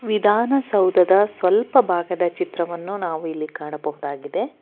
ವಿಧಾನಸೌಧದ ಸ್ವಲ್ಪ ಭಾಗದ ಚಿತ್ರವನ್ನು ನಾವು ಇಲ್ಲಿ ಕಾಣಬಹುದಾಗಿದೆ.